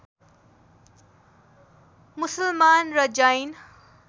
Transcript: मुसलमान र जैन